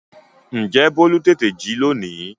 Ǹjẹ́ bólú tètè jí lónìí?